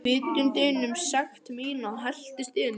Vitundin um sekt mína helltist yfir mig.